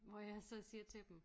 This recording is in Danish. Hvor jeg så siger til dem